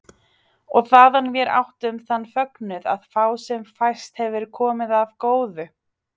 Og þaðan vér áttum þann fögnuð að fá sem fæst hefur komið af góðu.